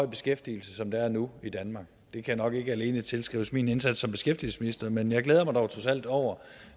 beskæftigelse som der er nu i danmark det kan nok ikke alene tilskrives min indsats som beskæftigelsesminister men jeg glæder mig dog trods alt over